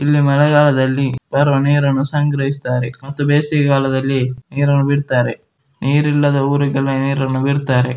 ಇಲ್ಲಿ ಮಳೆಗಾಲದಲ್ಲಿ ಬರುವ ನೀರನ್ನು ಸಂಗ್ರಹಿಸತ್ತಾರೆ ಮತ್ತು ಬೇಸಿಗೆಗಾಲದಲ್ಲಿ ನೀರನ್ನು ಬಿಡತ್ತರೆ ನೀರಿಲ್ಲದ ಊರುಗಳಿಗೆ ನೀರನ್ನು ಬಿಡತ್ತರೆ.